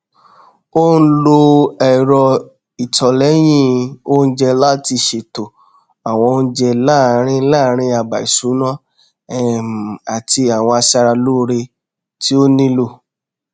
ó n lo ẹrọ ìtọlẹyìn oúnjẹ láti ṣètò àwọn oúnjẹ láàrín láàrín àbá ìṣúná um àti àwọn aṣara lóore tí ó nílò